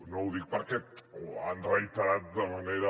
no ho dic perquè ho han reiterat de manera